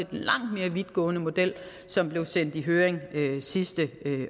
den langt mere vidtgående model som blev sendt i høring sidste